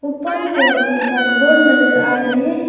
ऊपर की ओर तीन चार बोर्ड नजर आ रहे हैं।